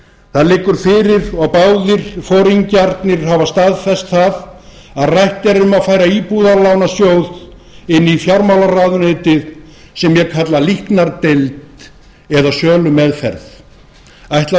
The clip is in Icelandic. það liggur fyrir og báðir foringjarnir hafa staðfest það að rætt er um að færa íbúðalánasjóð inn í fjármálaráðuneytið sem ég kalla líknardeild eða sölumeðmeðferð ætlar